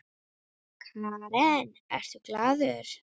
Karen: Ertu glaður?